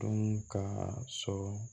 Dun ka sɔrɔ